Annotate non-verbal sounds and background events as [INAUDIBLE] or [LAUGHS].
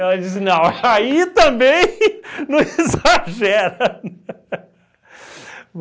disse, [LAUGHS] não, aí também não exagera [LAUGHS]